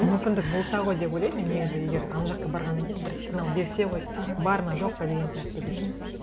мүмкіндік болса ғой деп ойлаймын мен негізі егер ана жаққа барғаннан кейін бір сигнал берсе ғой аха бар ма жоқ па деген сияқты деп